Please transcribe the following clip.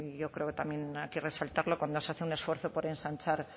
yo creo que también aquí resaltarlo cuando se hace un esfuerzo por ensanchar